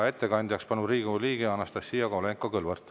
Ettekandjaks palun Riigikogu liikme Anastassia Kovalenko-Kõlvarti.